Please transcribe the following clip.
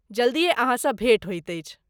जल्दिए अहाँसँ भेंट होइत अछि!